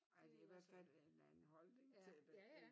Ja dte i hvert fald en anden holdning til det